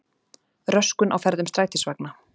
Röskun á ferðum strætisvagna